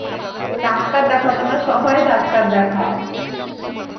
Doctor দেখাও তোমরা সবাই ডাক্তার দেখাও.